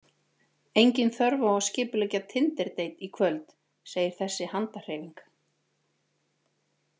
Engin þörf á að skipuleggja tinderdeit í kvöld, segir þessi handarhreyfing.